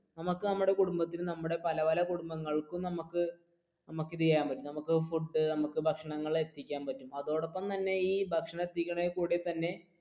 നമുക്ക് നമ്മുടെ കുടുംബത്തിൽ നമ്മുടെ പല പല കുടുംബങ്ങൾക്കും നമ്മുക്ക് ഇത് ചെയ്യാൻ പറ്റും നമുക്ക് കൊടുത്തു നമുക്ക് ഭക്ഷണങ്ങൾ എത്തിക്കാൻ പറ്റും അതോടപ്പം തന്നെ ഈ കൂടി തന്നെ